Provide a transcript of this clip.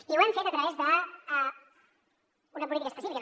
i ho hem fet a través d’una política específica